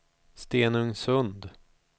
Stenungsund